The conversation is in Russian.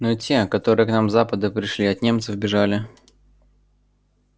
ну те которые к нам с запада пришли от немцев бежали